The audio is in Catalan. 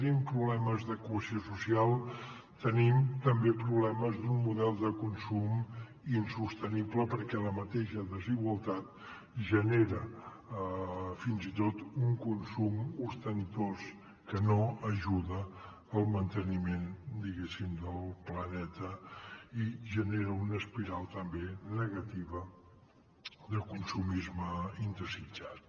tenim problemes de cohesió social tenim també problemes d’un model de consum insostenible perquè la mateixa desigualtat genera fins i tot un consum ostentós que no ajuda al manteniment diguéssim del planeta i genera una espiral també negativa de consumisme indesitjat